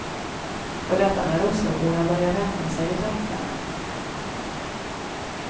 Och detta när osloborna börjar vänja sig vid tanken.